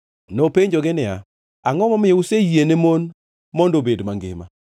Nopenjogi niya, “Angʼo momiyo useyiene mon mondo obed mangima?”